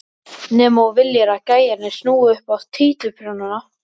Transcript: Nema þú viljir að gæjarnir snúi upp á títuprjónana!